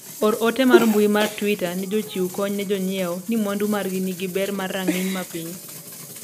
or ote mar mbui mar twita ne jochiw kony ne jonyiewo ni mwandu margi nigi ber mar rang'ing mapiny